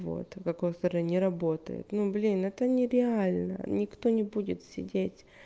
вот в какой стороне работает ну блин это нереально никто не будет сидеть